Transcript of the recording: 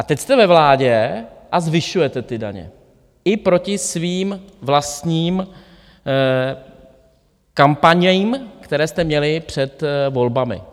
A teď jste ve vládě a zvyšujete ty daně i proti svým vlastním kampaním, které jste měli před volbami.